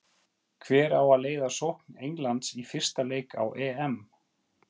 Hver á að leiða sókn Englands í fyrsta leik á EM?